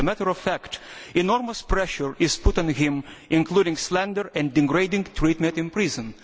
As a matter of fact, enormous pressure is being put on him, including slander and degrading treatment in prison.